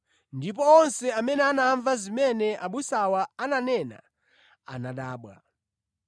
ndipo onse amene anamva zimene abusawa ananena anadabwa.